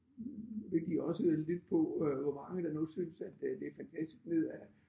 Vil de også lytte på øh hvor mange der nu synes at øh det fantastisk ned ad